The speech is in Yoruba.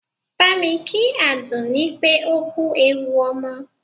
Bámi kí Àdùnní pé ó kú ewu ọmọ!